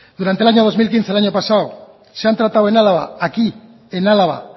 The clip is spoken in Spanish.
durante el año dos mil quince el año pasado se han tratado en álava aquí en álava